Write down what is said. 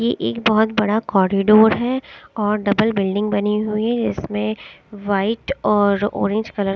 ये एक बहोत बड़ा कॉरिडोर है और डबल बिल्डिंग बनी हुई है इसमें वाइट और ऑरेंज कलर --